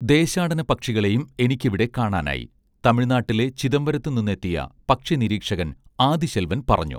ദേശാടനപക്ഷികളേയും എനിക്കിവിടെ കാണാനായി തമിഴ്നാട്ടിലെ ചിദംബരത്തുനിന്നെത്തിയ പക്ഷിനിരീക്ഷകൻ ആദിശെൽവൻ പറഞ്ഞു